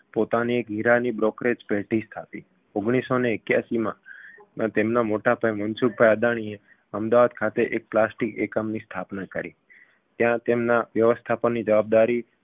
પોતાની એક હીરા brokerage પેઢી સ્થાપી ઓગણીસસોને એક્યાશીમાં તેમના મોટાભાઈ મનસુખભાઈ અદાણીએ અમદાવાદ ખાતે એક plastic એકમની સ્થાપના કરી ત્યાં તેમના વ્યવસ્થાપનની જવાબદારી